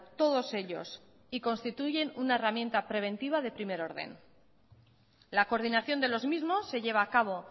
todos ellos y constituyen una herramienta preventiva de primer orden la coordinación de los mismos se lleva a cabo